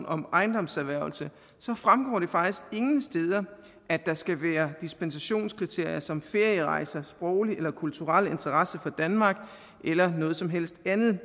om ejendomserhvervelse fremgår det faktisk ingen steder at der skal være dispensationskriterier som ferierejser sproglig eller kulturel interesse for danmark eller noget som helst andet det